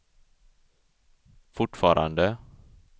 fortfarande